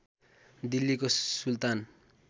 दिल्लीको सुल्तान